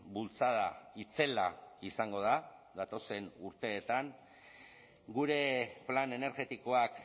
bultzada itzela izango da datozen urteetan gure plan energetikoak